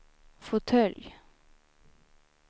fåtölj